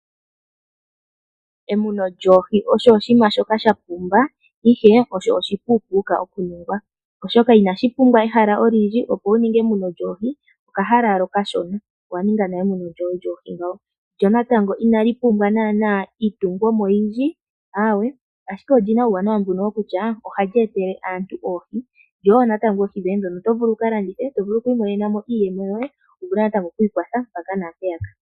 Emuno lyoohi osho oshinima shoka sha pumba Ihe Osho oshi pupuka okuningwa , oshoka inashi pumbwa eshala olindji opo wuninge emuno lyohe okahala wala okashona ,owa ninga nale emuno lyohe lyoohi ngawo, lyo naatango inali pumbwa nana iitungomo oyindji ,awe ,ashike olina uuwanawa dunno kutya ohali etele aantu oohi ,ishewe oto vulu oku ka landitha wimonenemo iiyemo yoye mpaka na mpeyaka.